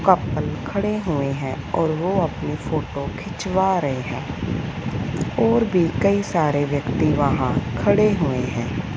Couple खड़े हुए हैं और वो अपनी फोटो खिंचवा रहे हैं और भी कई सारे व्यक्ति वहां खड़े हुए हैं।